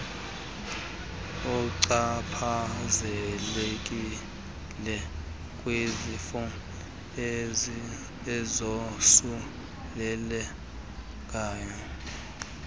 uchaphazelekile kwizifo ezosulela